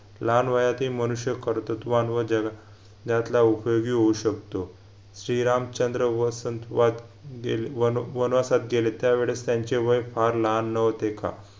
लहान वयातही मनुष्य कर्तृत्ववान व जगा न्यातला उपयोगी होऊ शकतो श्रीरामचंद्र वसंतवात गेले वनवासात गेले त्यावेळेस त्यांचे वय फार लहान नव्हते का